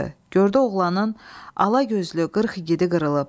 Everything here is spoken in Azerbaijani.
Gördü oğlanın alagözlü qırx igidi qırılıb.